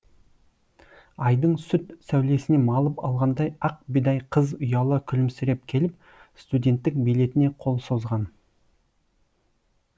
айдың сүт сәулесіне малып алғандай ақ бидай қыз ұяла күлімсіреп келіп студенттік билетіне қол созған